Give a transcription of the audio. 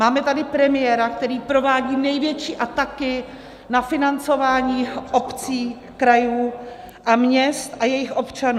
Máme tady premiéra, který provádí největší ataky na financování obcí, krajů a měst a jejich občanů.